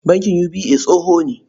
Bankin UBA tsoho ne.